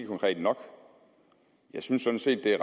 konkret nok jeg synes sådan set at det